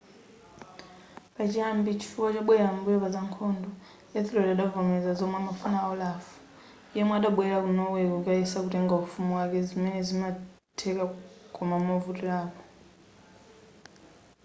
pachiyambi chifukwa chobwelera m'mbuyo paza nkhondo ethelred adavomera zomwe amafuna a olaf yemwe adabwelera ku norway kukayesa kutenga ufumu wake zimene zinatheka koma movutirapo